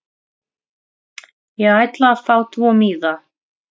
Ég ætla að fá tvo miða.